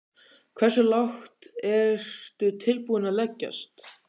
Hversu lágt ertu tilbúinn að leggjast?